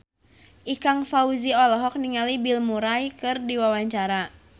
Ikang Fawzi olohok ningali Bill Murray keur diwawancara